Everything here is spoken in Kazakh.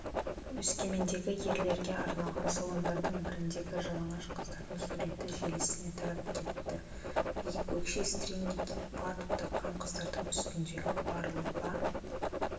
өскемендегі ерлерге арналған салондардың біріндегі жалаңаш қыздардың суреті желісіне тарап кетті биік өкше стринги киіп фартук таққан қыздардың үстіндегі бар лыпа